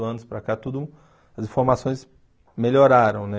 anos para cá, tudo, as informações melhoraram, né?